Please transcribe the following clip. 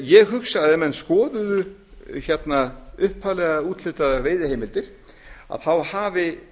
ég hugsa að ef menn skoðuðu upphaflega úthlutaðar veiðiheimildir þá hafi